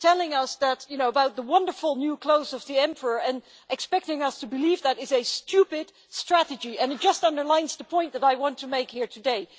Telling us about the wonderful new clothes of the emperor and expecting us to believe it is a stupid strategy, and it just underlines the point that I want to make here today.